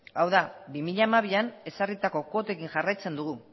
hau da bi mila hamabian ezarritako kuotekin jarraitzen dugu